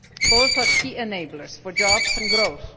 Both are key enablers for jobs and growth.